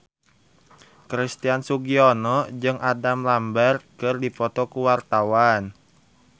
Christian Sugiono jeung Adam Lambert keur dipoto ku wartawan